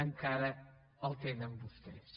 encara el tenen vostès